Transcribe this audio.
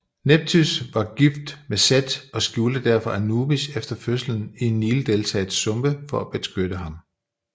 Nepthys var gift med Seth og skjulte derfor Anubis efter fødslen i Nildeltaets sumpe for at beskytte ham